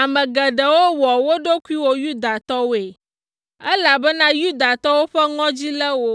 Ame geɖewo wɔ wo ɖokuiwo Yudatɔwoe, elabena Yudatɔwo ƒe ŋɔdzi lé wo.